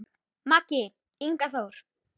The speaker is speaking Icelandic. Maki, Ingi Þór.